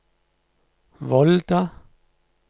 Volda